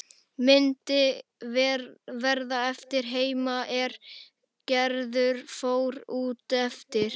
Myndin varð eftir heima er Gerður fór út aftur.